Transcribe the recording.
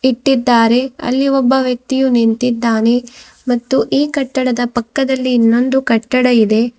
ಇಟ್ಟಿದ್ದಾರೆ ಅಲ್ಲಿ ಒಬ್ಬ ವ್ಯಕ್ತಿಯು ನಿಂತಿದ್ದಾನೆ ಮತ್ತು ಈ ಕಟ್ಟಡದ ಪಕ್ಕದಲ್ಲಿ ಇನ್ನೊಂದು ಕಟ್ಟಡ ಇದೆ.